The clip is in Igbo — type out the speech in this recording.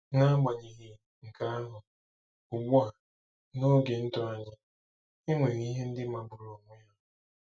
N'agbanyeghị nke ahụ, ugbu a - n'oge ndụ anyị - e nwere ihe ndị magburu onwe ya.